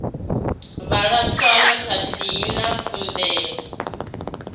vhala tswayo khathihi na kuvhumbelwe